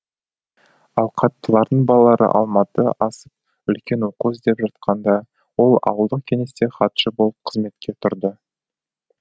ауқаттылардың балалары алматы асып үлкен оқу іздеп жатқанда ол ауылдық кеңесте хатшы болып қызметке турды